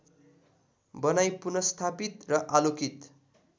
बनाई पुनर्स्थापित र आलोकित